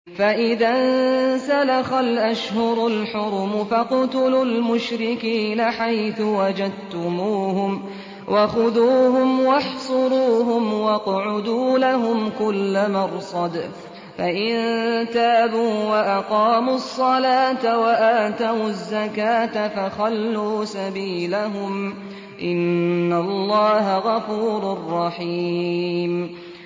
فَإِذَا انسَلَخَ الْأَشْهُرُ الْحُرُمُ فَاقْتُلُوا الْمُشْرِكِينَ حَيْثُ وَجَدتُّمُوهُمْ وَخُذُوهُمْ وَاحْصُرُوهُمْ وَاقْعُدُوا لَهُمْ كُلَّ مَرْصَدٍ ۚ فَإِن تَابُوا وَأَقَامُوا الصَّلَاةَ وَآتَوُا الزَّكَاةَ فَخَلُّوا سَبِيلَهُمْ ۚ إِنَّ اللَّهَ غَفُورٌ رَّحِيمٌ